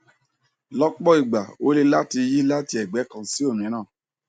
lọpọ ìgbà ó le láti yí láti ẹgbẹ kan sí òmíràn